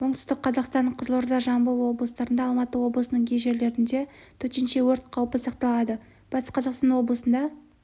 оңтүстік қазақстан қызылорда жамбыл облыстарында алматы облысының кей жерлерінде төтенше өрт қаупі сақталады батыс қазақстан облысында